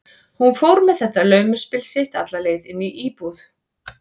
Hún fór með þetta laumuspil sitt alla leið inn í íbúð